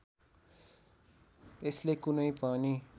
यसले कुनै पनि